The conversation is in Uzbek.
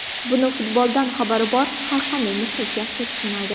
Buni futboldan xabari bor har qanday muxlis yaxshi tushunadi.